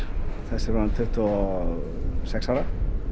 þessi er orðinn tuttugu og sex ára